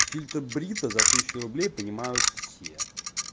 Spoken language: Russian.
фильтр брита за тысячу рублей понимают все